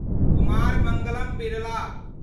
Kumar Mangalam Birla